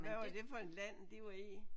Hvad var det for et land de var i?